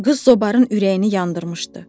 Qız zobarın ürəyini yandırmışdı.